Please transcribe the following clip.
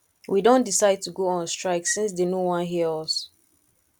we don decide to go on strike since dey no wan hear us